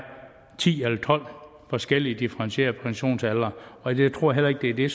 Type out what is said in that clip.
ti eller tolv forskellige differentierede pensionsaldre og jeg tror heller ikke det er det